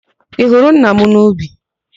Ị hụrụ nna ya n'ubi?